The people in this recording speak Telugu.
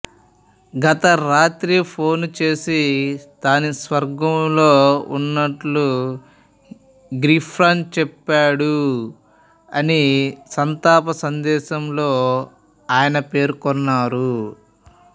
గత రాత్రి ఫోన్ చేసి తాను స్వర్గంలో ఉన్నట్టు గిఫ్రిన్ చెప్పాడు అని సంతాప సందేశంలో ఆయన పేర్కొన్నారు